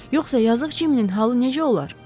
Yoxsa yazıq Cimminin halı necə olar?